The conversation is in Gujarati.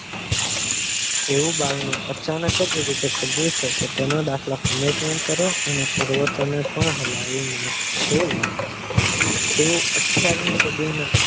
એવું બારણું અચાનક રીતે ખુલીયુ છે કે તેનો દાખલો commentment કરો અને પ્રવતો ને પણ હલાવી નાખશે એવો અઠયાવીસ સદીમાં